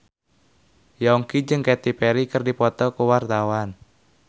Yongki jeung Katy Perry keur dipoto ku wartawan